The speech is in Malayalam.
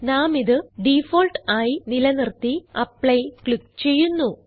നാമിത് ഡിഫോൾട്ട് ആയി നിലനിർത്തി ആപ്ലി ക്ലിക്ക് ചെയ്യുന്നു